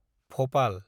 Bhopal